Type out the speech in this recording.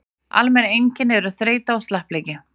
almenn einkenni eru þreyta og slappleiki